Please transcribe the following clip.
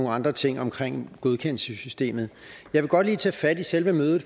andre ting omkring godkendelsessystemet jeg vil godt lige tage fat i selve mødet